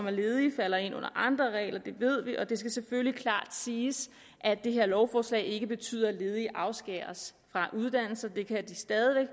er ledige falder ind under andre regler det ved vi og det skal selvfølgelig klart siges at det her lovforslag ikke betyder at ledige afskæres fra uddannelse det kan de stadig